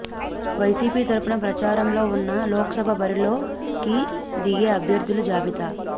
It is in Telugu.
వైసీపీ తరపున ప్రచారంలో ఉన్న లోక్సభ బరిలోకి దిగే అభ్యర్థుల జబితా